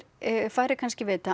færri kannski vita